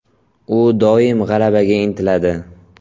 U doim g‘alabaga intiladi.